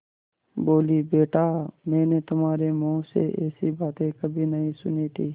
बोलीबेटा मैंने तुम्हारे मुँह से ऐसी बातें कभी नहीं सुनी थीं